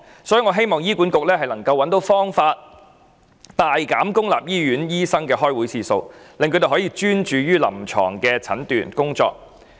所以，我希望醫管局能夠找方法大減公立醫院醫生的開會次數，令他們可以專注臨床診斷工作。